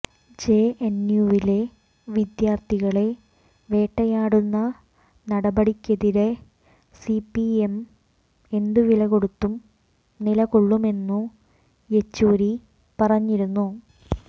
ജെഎന്യുവിലെ വിദ്യാര്ത്ഥികളെ വേട്ടയാടുന്ന നടപടിക്കെതിരെ സിപിഐഎം എന്തുവിലകൊടുത്തും നിലകൊള്ളുമെന്നു യെച്ചുരി പറഞ്ഞിരുന്നു